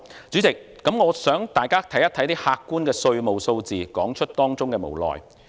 主席，我想大家看一些客觀的稅務數字，說出當中的無奈。